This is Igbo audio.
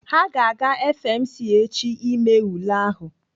Ha ga-aga FMC echi ime ule ahụ.